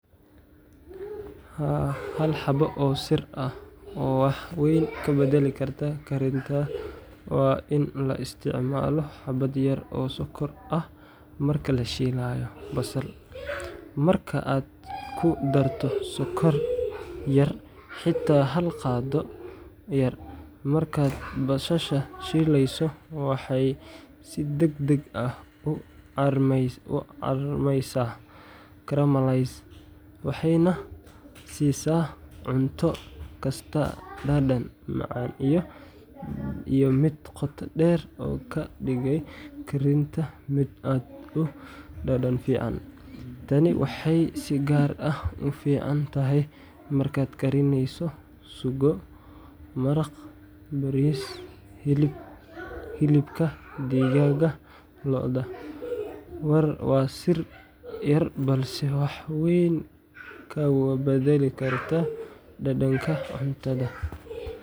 Haa, hal xabo oo sir ah oo wax weyn ka beddeli karta karinta waa in la isticmaalo xabbad yar oo sonkor ah marka la shiilayo basal. Marka aad ku darto sonkor yar xitaa hal qaaddo yar markaad basasha shiileyso, waxay si degdeg ah u carmaysaa caramelize, waxayna siisaa cunto kasta dhadhan macaan iyo mid qoto dheer oo ka dhigaya karinta mid aad u dhadhan fiican. Tani waxay si gaar ah u fiican tahay markaad karinayso suugo, maraq, bariis ama hilibka digaagga/lo’da. Waa sir yar balse wax weyn ka beddeli karta dhadhanka cuntadaada.